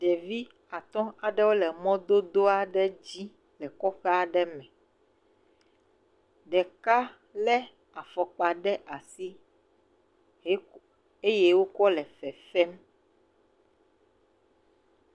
Ɖevi atɔ̃ aɖewole mɔdodo aɖe dzi le kɔƒe aɖe me. Ɖeka le afɔkpa ɖe asi ye eye wokɔ le fefem.